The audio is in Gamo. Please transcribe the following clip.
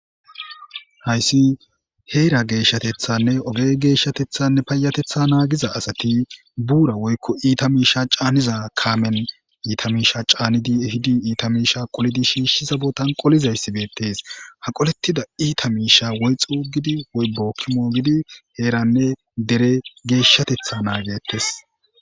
hayssi heera geeshshatethanne oge geeshshatethanne payatetha naagiza asati buura woykko iita miisha caaniza kaamen iita miisha caanidi ehidi iita miisha qolidi shiishshi zabotan qolizayssi beettees. haqolettida iita miisha woy xuuggidi woy boki moogidi heeranne dere geeshshatetha naagettes.